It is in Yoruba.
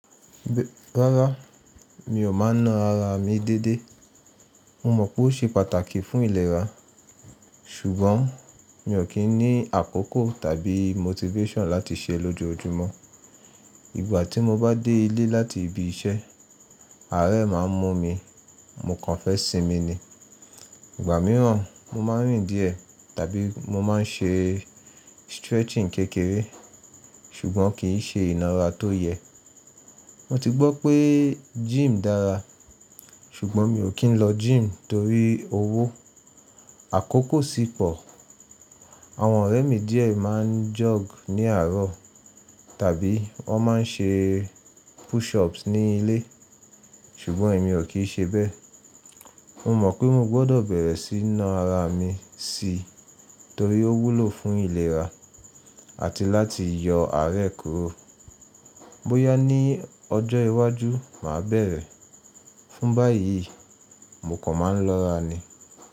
Rárá, mi ò máa ń ná ara mi dédé. Mo mọ̀ pé ó ṣe pàtàkì fún ìlera, ṣùgbọ́n mi ò kí ń ní àkókò tàbí motivation láti ṣe é lójoojúmọ́. Ìgbà tí mo bá dé ilé láti ibi iṣẹ́, àárẹ̀ máa ń mú mi, mo kàn fẹ́ sinmi ni. Ìgbà mìíràn, mo máa ń rìn díẹ̀ tàbí mo máa ń ṣe stretching kékeré, ṣùgbọ́n kì í ṣe ìnára tó yẹ. Mo ti gbọ́ pé gym dára, ṣùgbọ́n mi ò kí ń lọ gym torí owó, àkókò sì pọ̀. Àwọn ọ̀rẹ́ mi díẹ̀ máa ń jog ní àárọ̀ tàbí wọ́n máa ń ṣe push ups ní ilé, ṣùgbọ́n èmi ò kí í ṣe bẹ́ẹ̀. Mo mọ̀ pé mo gbọ́dọ̀ bẹ̀rẹ̀ sí ná ara mi si torí ó wúlò fún ìlera àti láti yọ àárẹ̀ kúrò. Bóyá ní ọjọ́ iwájú máa bẹ̀rẹ̀. Fún báyìí, mo kàn máa ń lọ́ra ni.